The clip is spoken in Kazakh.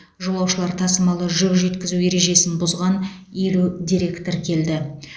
жолаушылар тасымалы жүк жеткізу ережесін бұзған елу дерек тіркелді